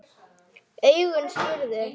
Augun spurðu.